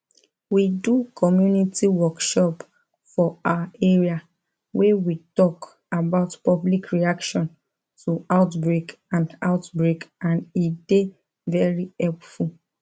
we do community workshop for our area wey we talk about public reaction to outbreak and outbreak and e dey very helpful